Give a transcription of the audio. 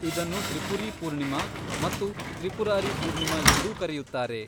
ಇದನ್ನು ತ್ರಿಪುರೀ ಪೂರ್ಣಿಮಾ ಮತ್ತು ತ್ರಿಪುರಾರಿ ಪೂರ್ಣಿಮಾ ಎಂದೂ ಕರೆಯುತ್ತಾರೆ.